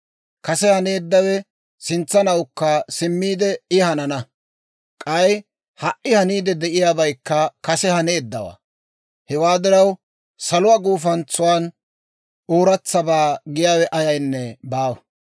Kase haneeddawe sintsanawukka simmiide I hanana; k'ay ha"i haniidde de'iyaabaykka kase haneeddawaa. Hewaa diraw, saluwaa gufantsan ooratsabaa giyaawe ayaynne baawa.